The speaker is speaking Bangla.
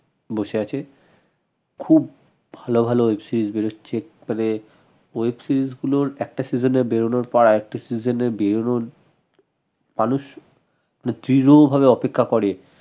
বসে আছে খুব ভাল ভাল web series বেরুচ্ছে তবে web series গুলোর একটা season এ বেরুনোর পর আরেকটা season এ বেরুনোর মানুষ মানে দৃঢ় ভাবে অপেক্ষা করে